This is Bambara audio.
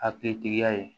Hakilitigiya ye